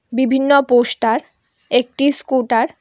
বিভিন্ন পোস্টার একটি স্কুটার --